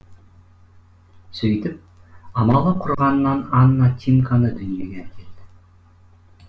сөйтіп амалы құрығаннан ана тимканы дүниеге әкелді